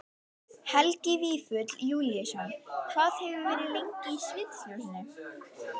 Helgi Vífill Júlíusson: Hvað hefurðu verið lengi í sviðsljósinu?